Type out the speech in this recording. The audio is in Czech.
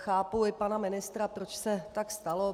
Chápu i pana ministra, proč se tak stalo.